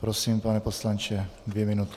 Prosím, pane poslanče, dvě minuty.